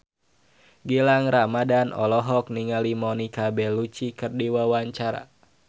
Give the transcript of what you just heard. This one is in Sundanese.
Gilang Ramadan olohok ningali Monica Belluci keur diwawancara